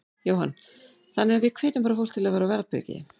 Jóhann: Þannig að við hvetjum bara fólk til þess að vera á varðbergi?